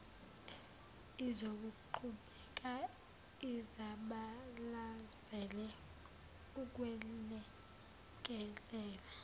izokuqhubeka izabalazele ukwelekelela